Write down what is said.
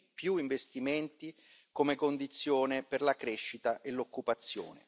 Più investimenti come condizione per la crescita e l'occupazione.